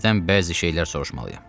Sizdən bəzi şeylər soruşmalıyam.